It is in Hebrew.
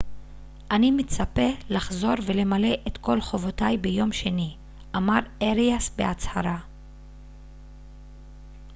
אני מצפה לחזור ולמלא את כל חובותיי ביום שני אמר אריאס בהצהרה